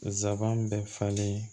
Zaban bɛ falen